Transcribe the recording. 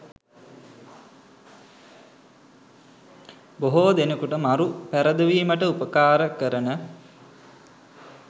බොහෝ දෙනෙකුට මරු පැරදවීමට උපකාරක කරන